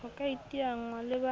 ho ka iteanngwa le ba